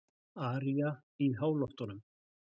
Aría í háloftunum